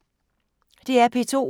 DR P2